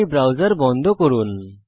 এই ব্রাউসের বন্ধ করুন